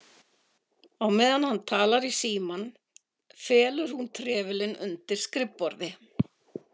Á meðan hann talar í símann felur hún trefilinn undir skrifborði.